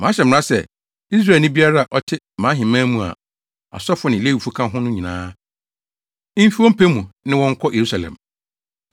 Mahyɛ mmara sɛ, Israelni biara a ɔte mʼaheman mu a asɔfo ne Lewifo ka ho no nyinaa, mfi wɔn pɛ mu ne wo nkɔ Yerusalem.